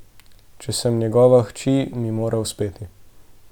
Če sem njegova hči, mi mora uspeti.